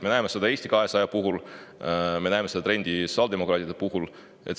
Me näeme seda Eesti 200 puhul, me näeme seda trendi ka sotsiaaldemokraatide puhul.